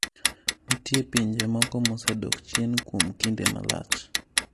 Nitie pinje moko mosedok chien kuom kinde malach.